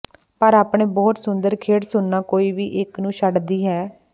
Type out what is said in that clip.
ਪਰ ਆਪਣੇ ਬਹੁਤ ਸੁੰਦਰ ਖਿੜ ਸੁਣਨਾ ਕੋਈ ਵੀ ਇੱਕ ਨੂੰ ਛੱਡਦੀ ਹੈ